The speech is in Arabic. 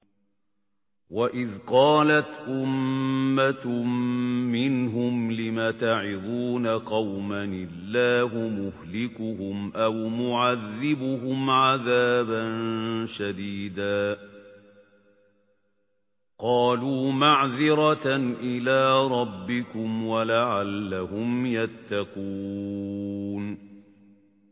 وَإِذْ قَالَتْ أُمَّةٌ مِّنْهُمْ لِمَ تَعِظُونَ قَوْمًا ۙ اللَّهُ مُهْلِكُهُمْ أَوْ مُعَذِّبُهُمْ عَذَابًا شَدِيدًا ۖ قَالُوا مَعْذِرَةً إِلَىٰ رَبِّكُمْ وَلَعَلَّهُمْ يَتَّقُونَ